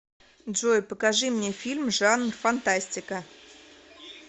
джой покажи мне фильм жанр фантастика